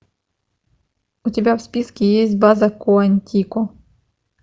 у тебя в списке есть база куантико